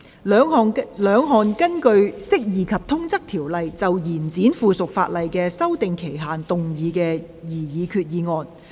兩項根據《釋義及通則條例》，就延展附屬法例的修訂期限動議的擬議決議案。